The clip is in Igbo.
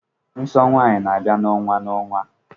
Nsọ nwanyị n'abia na-onwa na-onwa.